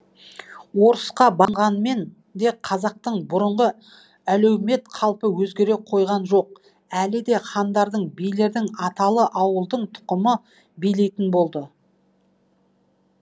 орысқа де қазақтың бұрынғы әлеумет қалпы өзгере қойған жоқ әлі де хандардың билердің аталы ауылдың тұқымы билейтін болды